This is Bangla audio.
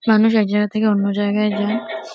মানুষ এক জায়গা থেকে অন্য জায়গায় যায় ।